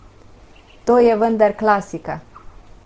To je vendar klasika!